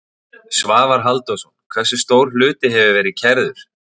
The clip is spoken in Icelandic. Svavar Halldórsson: Hversu stór hluti hefur verið kærður?